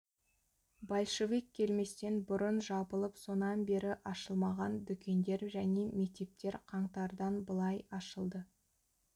большевик келместен бұрын жабылып сонан бері ашылмаған дүкендер және мектептер қаңтардан былай ашылды